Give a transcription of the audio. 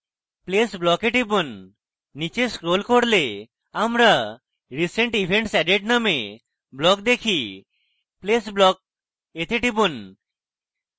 place block we টিপুন নীচে scroll করলে আমরা recent events added নামে block দেখি place block we টিপুন